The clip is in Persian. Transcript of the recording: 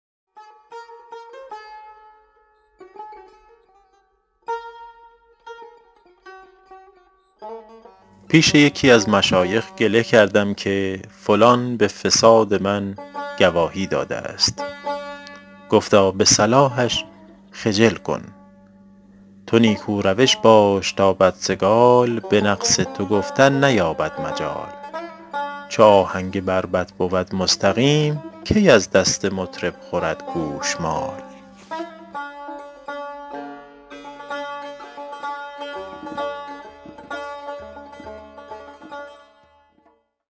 پیش یکی از مشایخ گله کردم که فلان به فساد من گواهی داده است گفتا به صلاحش خجل کن تو نیکو روش باش تا بدسگال به نقص تو گفتن نیابد مجال چو آهنگ بربط بود مستقیم کی از دست مطرب خورد گوشمال